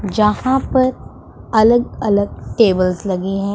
जहां पर अलग-अलग टेबल्स लगे है।